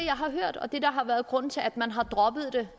har hørt og det der har været grunden til at man har droppet det